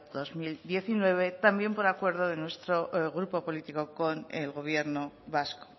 dos mil diecinueve también por el acuerdo de nuestro grupo político con el gobierno vasco